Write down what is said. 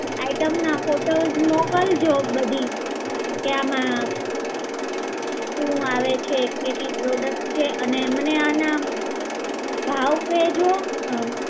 Item ના photos મોકલજો બધી, કે આમાં શું આવે છે, કેટલી products છે, અને મને આના ભાવ કહેજો.